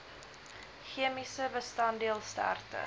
chemiese bestanddeel sterkte